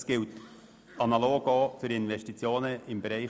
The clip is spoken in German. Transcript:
Dies gilt analog auch für Investitionen im ÖVBereich.